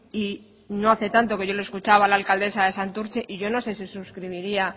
y no hace tanto que yo le he escuchado a la alcaldesa de santurtzi y yo no sé si suscribiría